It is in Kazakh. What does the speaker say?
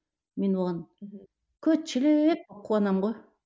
мен оған көт шелек қуанамын ғой